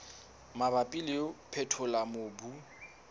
mabapi le ho phethola mobu